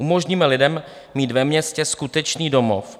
Umožníme lidem mít ve městě skutečný domov.